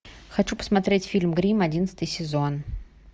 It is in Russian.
хочу посмотреть фильм гримм одиннадцатый сезон